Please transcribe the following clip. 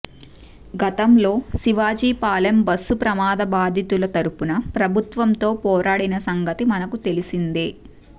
గతంలో శివాజీ పాలెం బస్సు ప్రమాద బాధితుల తరుపున ప్రభుత్వంతో పోరాడిన సంగతి మనకు తెలిసిందే